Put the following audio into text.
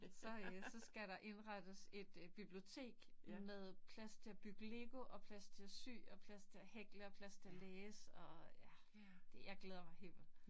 Så øh, så skal der indrettes et øh bibliotek med plads til at bygge lego og plads til at sy og plads til at hækle og plads til at læse og ja. Jeg glæder mig helt vildt